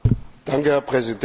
Herr Präsident!